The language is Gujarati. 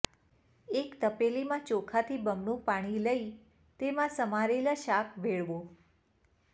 એક તપેલીમાં ચોખાથી બમણું પાણી લઇ તેમાં સમારેલાં શાક ભેળવો